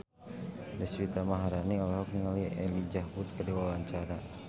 Deswita Maharani olohok ningali Elijah Wood keur diwawancara